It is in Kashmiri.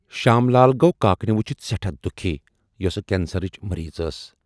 شام لال گوٚو کاکنہِ وُچِھتھ سٮ۪ٹھاہ دُکھی یۄسہٕ کٮ۪نسرٕچ مریٖض ٲس۔